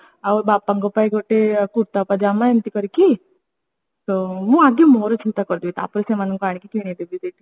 ଆଉ ବାପାଙ୍କ ପାଇଁ ଗୋଟେ କୁର୍ତ୍ତା ପାଜମା ଏମିତି କରିକି ମୁଁ ଆଗେ ମୋର ଚିନ୍ତା କରିଦିଏ ତାପରେ ସେମାନଙ୍କୁ ଆଣିକି କିଣିଏ ଦେବି ଏଇଠି